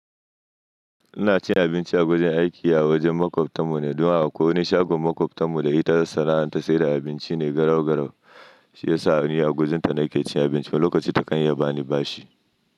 Ina cin abinci a wajen aiki, a wajen makwabtan mu ne. Don akwai wani shagon makwabtarmu da ita ta sana'anta sai da abinci ne garau-garau. Shi ya sa ni a gurinta nake cin abinci wani lokaci takan iya ba ni bashi.